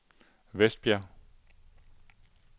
Vestbjerg